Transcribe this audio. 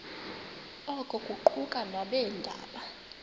oku kuquka nabeendaba